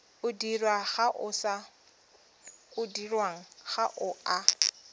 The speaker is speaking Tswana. o dirwang ga o a